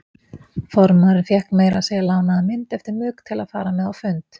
Formaðurinn fékk meira að segja lánaða mynd eftir Mugg til að fara með á fund.